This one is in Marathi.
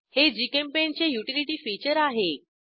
हे जीचेम्पेंट चे युटिलिटी फीचर आहे